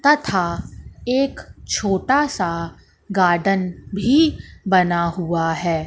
तथा एक छोटा सा गार्डन भी बना हुआ है।